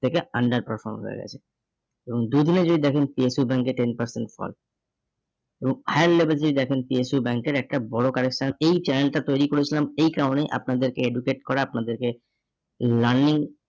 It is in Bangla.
থেকে under perform হয়ে গেছে এবং দুদিনে যদি দেখেন PSU bank এ ten percent fall এবং higher level এ যদি দেখেন PSU bank এর একটা বড় correction এই channel টা তৈরি করেছিলাম এই কারণে আপনাদেরকে educate করা আপনাদেরকে learning